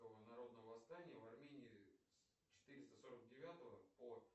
народного восстания в армении с четыреста сорок девятого по